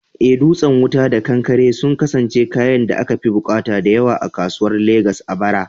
Eh, dutsen wuta da kankare sun kasance kayan da akafi bukata da yawa a kasuwar Legas a bara.